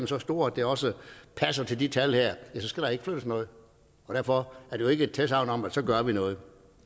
så store at det også passer til de talt her ja så skal der ikke flyttes noget derfor er det jo ikke et tilsagn om at så gør vi noget